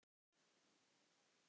Lið ársins